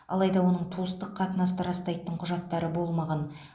алайда оның туыстық қатынасты растайтын құжаттары болмаған